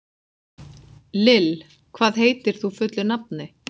Lill, hvað heitir þú fullu nafni?